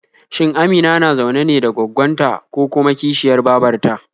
Shin Amina na zaune ne da gwaggon ta ko kuma kishiyar babar ta?